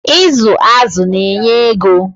Ịzụ azụ na-enye ego.